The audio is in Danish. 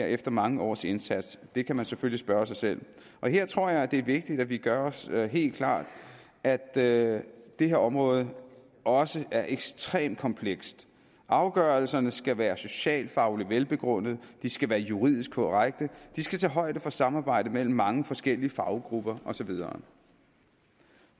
efter mange års indsats det kan man selvfølgelig spørge sig selv og her tror jeg det er vigtigt at vi gør os helt klart at at det her område også er ekstremt komplekst afgørelserne skal være socialt fagligt velbegrundede de skal være juridisk korrekte de skal tage højde for samarbejde mellem mange forskellige faggrupper og så videre